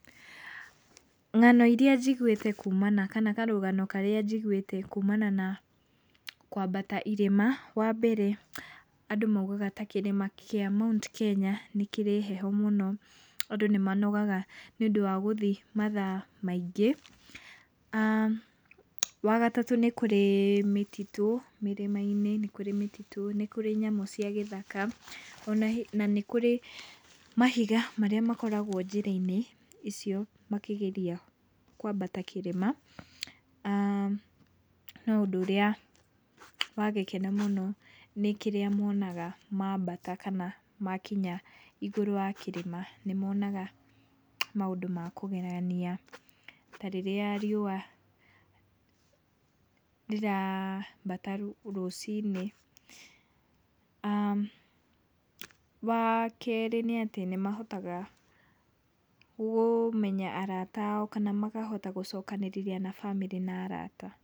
Ng'ano iria njiguĩte kumana kana karũgano karĩa njiguĩte kumana na kwambata irĩma. Wambere andũ maugaga ta kĩrĩma kĩa Mount Kenya nĩkĩrĩ heho mũno andũ nĩmanogaga nĩũndũ wa gũthiĩ mathaa maingĩ. Wagatatũ nĩ kũrĩ mĩtitũ mĩrĩma-inĩ, nĩ kũrĩ mĩtitũ, nĩ kũrĩ nyamũ cia gĩthaka ona na nĩ kũrĩ mahiga marĩa makoragwo njĩra-inĩ icio makĩgeria kwambata kĩrĩma. No ũndũ ũrĩa wa gĩkeno mũno nĩ kĩrĩa monaga mambata kana makinya igũrũ wa kĩrĩma. Nĩ monaga maũndũ ma kũgegania, ta rĩrĩa riũa rĩrambata rũcinĩ. Wakerĩ nĩ atĩ nĩmahotaga kũmenya arata ao kana makahota gũcokanĩrĩria na bamĩrĩ na arata.